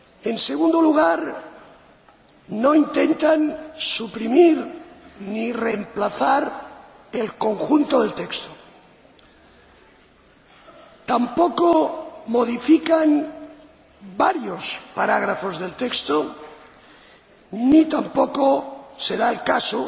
En segundo lugar, no intentan suprimir ni reemplazar el conjunto del texto. Tampoco modifican varios párrafos del texto ni tampoco se da el caso